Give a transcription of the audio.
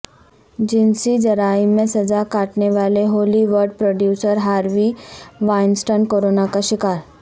جنسی جرائم میں سزا کاٹنے والے Hollywood producer Harvey Weinstein corona کا شکار